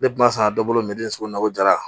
Ne kumasa dɔ bolo min bɛ sugu la ko jara